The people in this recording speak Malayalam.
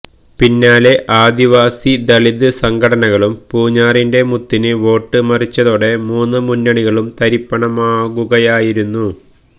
പിന്നാലെ ആദിവാസി ദളിത് സംഘടനകളും പൂഞ്ഞാറിന്റെ മുത്തിന് വോട്ട് മറിച്ചതോടെ മൂന്ന് മുന്നണികളും തരിപ്പണമാകുകയായിരുന്നു